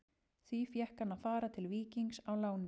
Því fékk hann að fara til Víkings á láni.